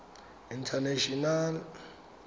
international